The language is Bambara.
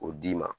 O d'i ma